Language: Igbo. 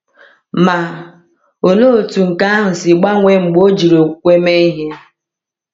Ma, olee otú nke ahụ si gbanwee mgbe ọ jiri okwukwe mee ihe!